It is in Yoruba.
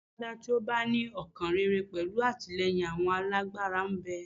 Alágbádá tí ó bá ní ọkàn rere pẹ̀lú àtìlẹ́yìn àwọn alágbára ń bẹ.